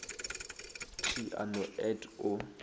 t a no et o